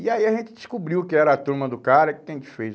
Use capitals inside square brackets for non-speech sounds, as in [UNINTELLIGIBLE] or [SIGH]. E aí a gente descobriu que era a turma do cara que tem [UNINTELLIGIBLE]